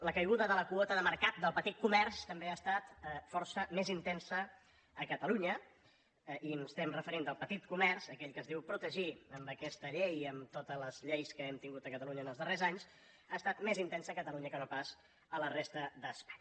la caiguda de la quota de mercat del petit comerç també ha estat força més intensa a catalunya i ens referim al petit comerç aquell que es diu protegir amb aquesta llei i amb totes les lleis que hem tingut a catalunya en els darrers anys que no pas a la resta d’espanya